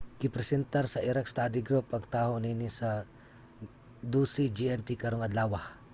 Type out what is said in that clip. gipresentar sa iraq study group ang taho niini sa 12.00 gmt karong adlawa